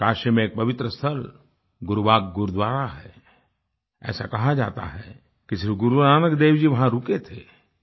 काशी में एक पवित्र स्थल गुरुबाग गुरुद्वारा है ऐसा कहा जाता है कि श्री गुरुनानक देव जी वहां रुके थे